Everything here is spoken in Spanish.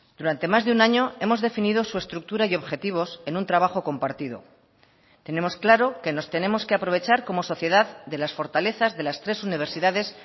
durante más de un año hemos definido su estructura y objetivos en un trabajo compartido tenemos claro que nos tenemos que aprovechar como sociedad de las fortalezas de las tres universidades